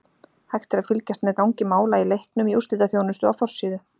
Hægt er að fylgjast með gangi mála í leiknum í úrslitaþjónustu á forsíðu.